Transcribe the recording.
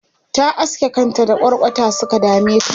ta aske kanta da kwarkwata Suka dameta